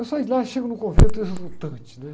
Eu saio de lá e chego no convento exultante, né?